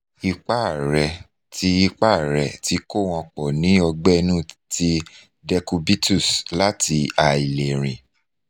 ipa re ti ipa re ti ko won po ni ogbe inu ti decubitus lati ailerin